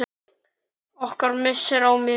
Okkar missir er mikill.